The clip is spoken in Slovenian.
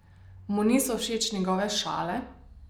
Mu niso všeč njegove šale?